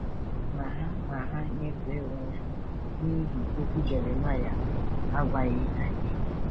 Ma ha Ma ha nyefee onwe ha n’ihi okwu Jeremaịa, a gwaghị anyị.